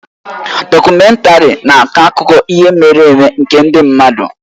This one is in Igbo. Dọkumèntarị na-akọ akụkọ ihe mere eme nke ndị mmadụ